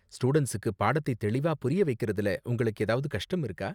ஸ்டூடண்ட்ஸுக்கு பாடத்தை தெளிவா புரிய வைக்கறதுல உங்களுக்கு ஏதாவது கஷ்டம் இருக்கா?